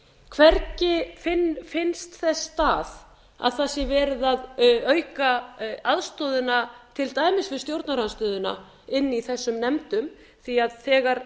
hvergi finnst þess stað að það sé verið að auka aðstoðina til dæmis við stjórnarandstöðuna inni í þessum nefndum því að þegar